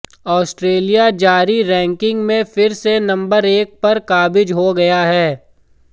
Australia जारी ranking में फिर से नंबर एक पर काबिज हो गया है